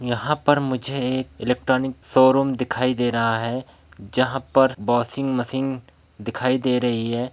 यहाँ पर मुझे एक इलेक्ट्रॉनिक शोरूम दिखाई दे रहा है जहाँ पर वाशिंग मशीन दिखाई दे रही है।